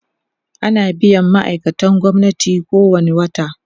ana biyan ma'aikatan gwamnati kowani wata